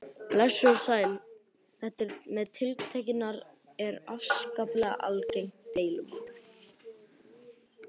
Blessuð og sæl, þetta með tiltektirnar er afskaplega algengt deilumál.